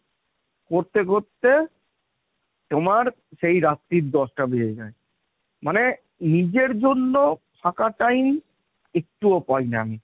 করতে করতে তোমার সেই রাত্রির দশ'টা বেজে যায়। মানে নিজের জন্য ফাঁকা time একটুও পাইনা।